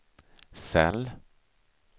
cell